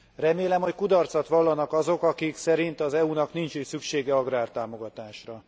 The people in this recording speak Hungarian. Remélem, hogy kudarcot vallanak azok, akik szerint az EU nak nincs is szüksége agrártámogatásra.